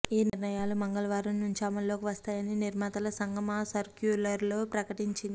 ఈ నిర్ణయాలు మంగళవారం నుంచే అమలులోకి వస్తాయని నిర్మాతల సంఘం ఆ సర్క్యులర్లో ప్రకటించింది